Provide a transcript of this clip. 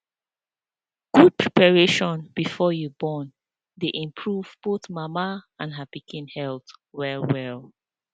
good preparation before you born dey improve both mama and her pikin health well well